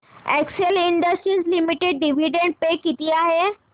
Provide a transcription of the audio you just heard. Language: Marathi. Excel Industries Limited dividend pay किती आहे